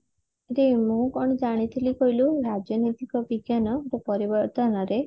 ଯେ ମୁ କଣ ଜାଣିଥିଲି କହିଲୁ ରାଜନୈତିକ ବିଜ୍ଞାନ ର ପରିବର୍ତନ ରେ